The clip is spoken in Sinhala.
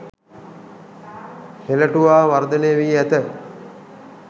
හෙළටුවා වර්ධනය වී ඇත.